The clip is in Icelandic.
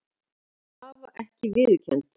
Krafa ekki viðurkennd